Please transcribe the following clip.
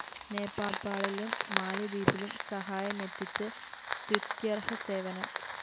നേപ്പാളിലും മാലിദ്വീപിലും സഹായമെത്തിച്ച് സ്തുത്യര്‍ഹ സേവനം